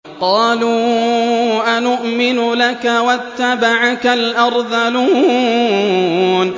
۞ قَالُوا أَنُؤْمِنُ لَكَ وَاتَّبَعَكَ الْأَرْذَلُونَ